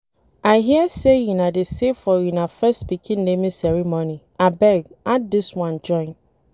I hear say una dey save for una first pikin naming ceremony, abeg add dis one join